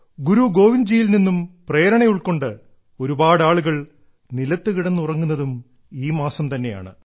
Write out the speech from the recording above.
ഗുരു ഗോവിന്ദ്ജിയിൽ നിന്നും പ്രേരണ ഉൾക്കൊണ്ട് ഒരുപാടാളുകൾ നിലത്തു കിടന്ന് ഉറങ്ങുന്നതും ഈ മാസം തന്നെയാണ്